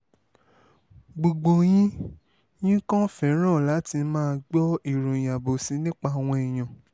gbogbo yín yín kan fẹ́ràn láti máa gbọ́ ìròyìn àbòsí nípa àwọn èèyàn